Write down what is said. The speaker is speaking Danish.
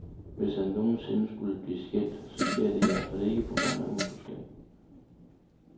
Hvis han nogen sinde skulle blive skilt, så sker det i hvert fald ikke på grund af utroskab.